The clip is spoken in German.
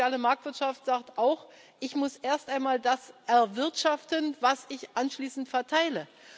Aber die soziale Marktwirtschaft sagt auch Ich muss erst einmal das erwirtschaften, was ich anschließend verteile.